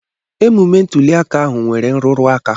Emume ntụliaka ahụ nwere nrụrụaka.